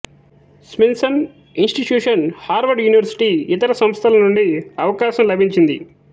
స్మింసన్ institution Harvard university ఇతర సంస్థల నుండి అవకాశం లభించింది